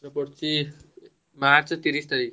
ଏଥର ପଡୁଛି ମାର୍ଚ୍ଚ ତିରିଶ ତାରିଖ।